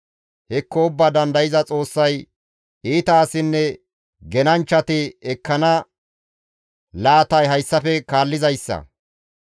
«Hekko Ubbaa Dandayza Xoossay iita asinne genanchchati ekkana laatay hayssafe kaallizayssa.